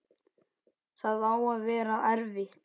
Það á að vera erfitt.